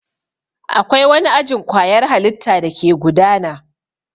Akwai wani ajin kwayar halitta dake gudana.